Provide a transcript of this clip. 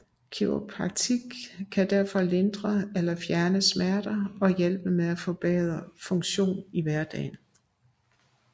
Kiropraktik kan derfor lindre eller fjerne smerter og hjælpe med at forbedre funktion i hverdagen